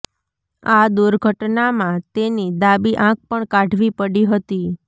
આ દુર્ઘટનામાં તેની ડાબી આંખ પણ કાઢવી પડી હતી